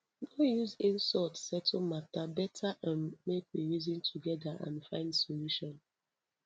no use insult settle matter better um make we reason together and find solution